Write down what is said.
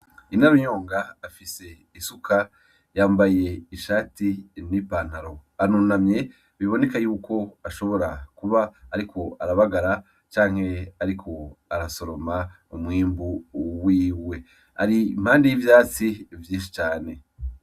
Inarunyonga afise isuka yambaye ishati n' ipantaro, arunamye biboneka yuko ashobora kuba ariko arabagara canke ariko arasoroma umwimbu wiwe. Ari impande y'ivyatsi vyinshi cane.